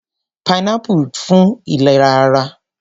Pineapple dára fún ìlera ara.